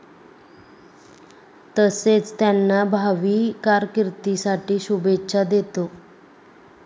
तसेच त्यांना भावी कारकिर्दीसाठी शुभेच्छा देतो.